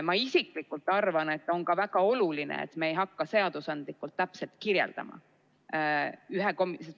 Ma isiklikult arvan, et on ka väga oluline, et me ei hakka seadusandlikult kõike täpselt kirjeldama.